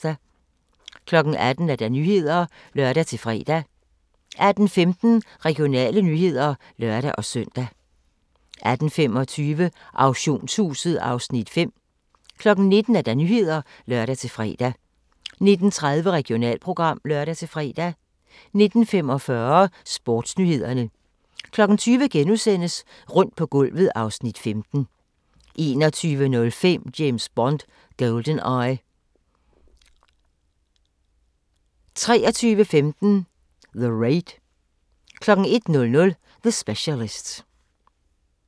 18:00: Nyhederne (lør-fre) 18:15: Regionale nyheder (lør-søn) 18:25: Auktionshuset (Afs. 5) 19:00: Nyhederne (lør-fre) 19:30: Regionalprogram (lør-fre) 19:45: Sportsnyhederne 20:00: Rundt på gulvet (Afs. 15)* 21:05: James Bond: GoldenEye 23:15: The Raid 01:00: The Specialist